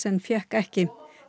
en fékk ekki